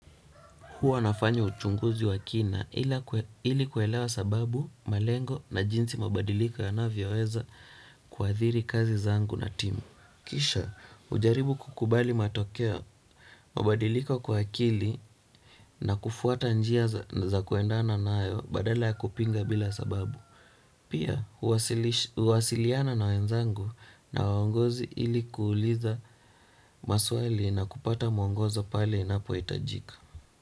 Huwa nafanya uchunguzi wa kina ili kuelewa sababu, malengo na jinsi mabadiliko yanavyoweza kuadhiri kazi zangu na timu. Kisha hujaribu kukubali matokeo mabadiliko kwa akili na kufuata njia za kuendana nayo badala ya kupinga bila sababu. Pia huwasiliana na wenzangu na waongozi ili kuuliza maswali na kupata mwongozo pale inapohitajika.